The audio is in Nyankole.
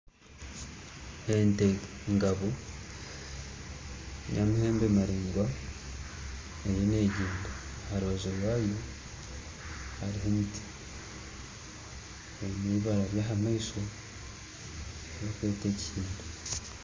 Ente ngabo y'amaheembe maraingwa eriyo neegyenda aha rubaju rwayo hariho emiti, eine eibara ry'aha maisho